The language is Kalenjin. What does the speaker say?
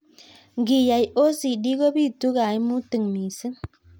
Ngiyai OCD kobitu kaimutik missing.